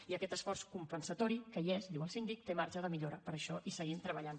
i aquest esforç compensatori que hi és diu el síndic té marge de millora per això hi seguim treballant